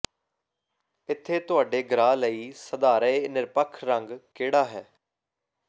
ਇੱਥੇ ਤੁਹਾਡੇ ਗ੍ਰਾਹ ਲਈ ਸਧਾਰਯ ਨਿਰਪੱਖ ਰੰਗ ਕਿਹੜਾ ਹੈ